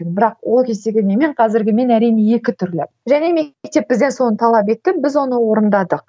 бірақ ол кездегі менмен қазіргі мен әрине екі түрлі және мектеп бізден соны талап етті біз оны орындадық